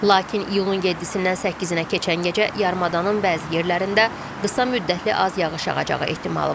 Lakin iyulun 7-dən 8-ə keçən gecə yarımadanın bəzi yerlərində qısa müddətli az yağış yağacağı ehtimalı var.